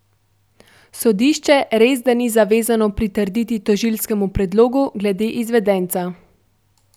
Sodišče resda ni zavezano pritrditi tožilskemu predlogu glede izvedenca.